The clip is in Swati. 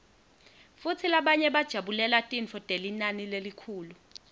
futsi labanye bajabulela tintfo telinani lelikhulu